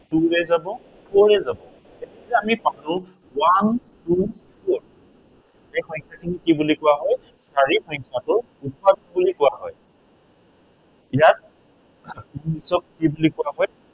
two ৰে যাব, four ৰে যাব। এতিয়া আমি পালো one two four এই সংখ্য়াখিনিক কি বুলি কোৱা হয়, চাৰি সংখ্য়াটোক উৎপাদক বুলি কোৱা হয়। ইয়াত কি বুলি কোৱা হয়।